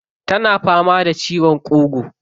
Tana fama da ciwon ƙugu.